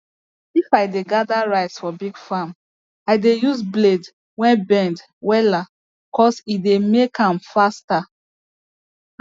if i dey gather rice for big farm i dey use blade wey bend wella cos e dey make am faster